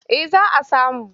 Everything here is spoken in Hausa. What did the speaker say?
Eh za a samu.